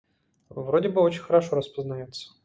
вроде бы очень хорошо распознаётся